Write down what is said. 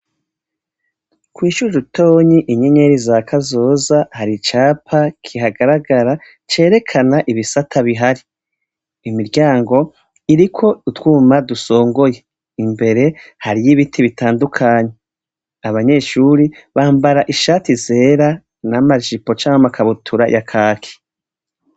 Kw'ishure ritonyi inyenyeri za kazoza hari icapa kigaragara cerekana ibisata bihari, imiryango iriko utwuma dusongoye, imbere hariyo ibiti bitandukanye abanyeshuri bambara ishati zera n'amajipo canke amakabutura yakaki.